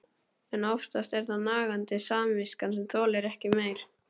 En oftast er það nagandi samviskan sem þolir ekki meir.